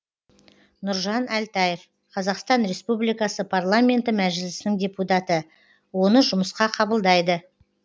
нұржан әлтаев қазақстан республикасы парламенті мәжілісінің депутаты оны жұмысқа қабылдайды